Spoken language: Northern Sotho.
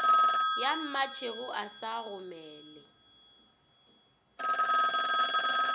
ya mmatšhego a sa gomele